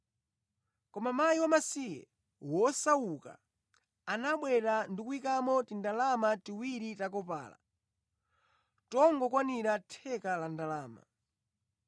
Koma mkazi wamasiye, wosauka anabwera ndi kuyikamo tindalama tiwiri ta kopala, tongokwanira theka la ndalama.